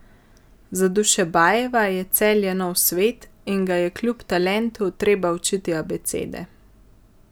Za Dušebajeva je Celje nov svet, in ga je kljub talentu treba učiti abecede.